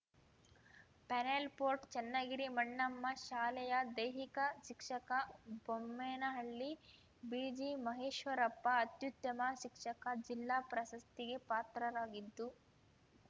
panel photo Channagiri Mannamma ಶಾಲೆಯ ದೈಹಿಕ ಶಿಕ್ಷಕ ಬೊಮ್ಮೇನಹಳ್ಳಿ ಬಿಜಿಮಹೇಶ್ವರಪ್ಪ ಅತ್ಯುತ್ತಮ ಶಿಕ್ಷಕ ಜಿಲ್ಲಾ ಪ್ರಶಸ್ತಿಗೆ ಪಾತ್ರರಾಗಿದ್ದು